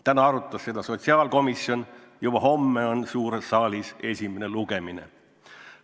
Täna arutas seda sotsiaalkomisjon, juba homme on suures saalis esimene lugemine.